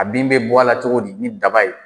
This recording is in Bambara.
A bin bɛ bɔ a la cogo di ni daba ye?